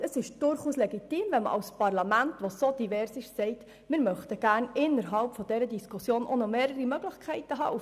Es ist durchaus legitim, als Parlament zu sagen, man möchte innerhalb dieser Diskussion gerne mehrere Möglichkeiten haben.